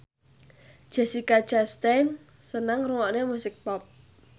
Jessica Chastain seneng ngrungokne musik pop